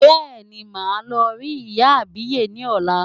Bẹ́ẹ̀ni, màá lọ rí ìyá àbíyè ni ọ̀la.